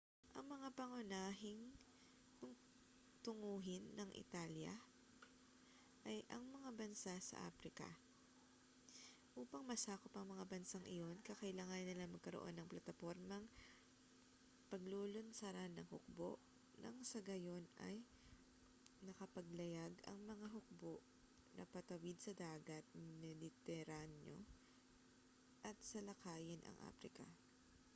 ang mga pangunahing tunguhin ng italya ay ang mga bansa sa aprika upang masakop ang mga bansang iyon kakailanganin nilang magkaroon ng platapormang paglulunsaran ng hukbo nang sa gayon ay makapaglayag ang mga hukbo na patawid sa dagat mediteraneo at salakayin ang aprika